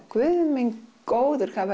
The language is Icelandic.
Guð minn góður hvað